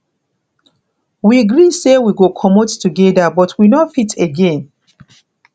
we gree say we go comot together but we no fit again